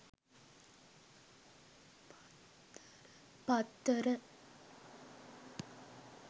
paththara